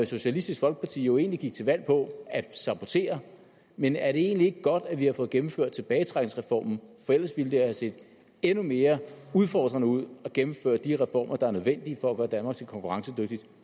socialistisk folkeparti jo egentlig gik til valg på at sabotere men er det egentlig ikke godt at vi har fået gennemført tilbagetrækningsreformen for ellers ville det have set endnu mere udfordrende ud at gennemføre de reformer der er nødvendige for at gøre danmark til et konkurrencedygtigt